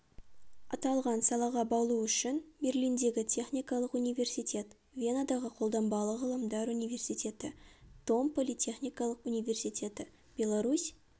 аталған салаға баулу үшін берлиндегі техникалық университет венадағы қолданбалы ғылымдар университеті том политехникалық университеті беларусь